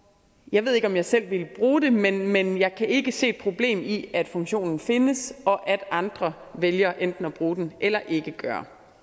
jeg ved ikke om jeg selv ville bruge den men jeg kan ikke se et problem i at funktionen findes og at andre vælger enten at bruge den eller ikke gøre